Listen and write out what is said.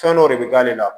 Fɛn dɔ de bɛ k'ale la